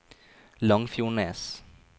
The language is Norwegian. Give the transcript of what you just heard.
Langfjordnes